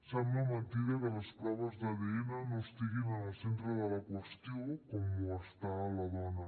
sembla mentida que les proves d’adn no estiguin en el centre de la qüestió com ho està a la dona